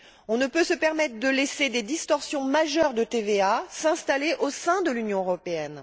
On ne peut se permettre de laisser des distorsions majeures de TVA s'installer au sein de l'Union européenne.